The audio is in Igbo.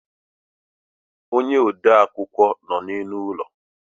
ónyé ode akwukwọ nọ n' élú ụlọ.